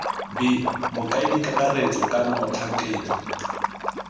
b mokaedi kakaretso kana motlhankedi